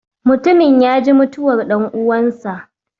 Mutumin ya ji mutuwar ɗan'uwansa